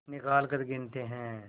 निकालकर गिनते हैं